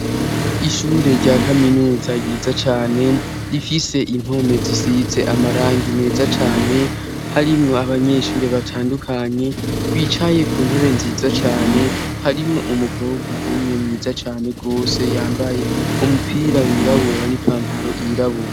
ishure rya kaminuza yiza cane rifise impome zisize amarangi meza cane harimwo abanyeshuri batandukanye bicaye kuntebe nziza cane harimwo umukobwa umwe mwiza cane gose yambaye umupira wirabura n'ipantaro yirabura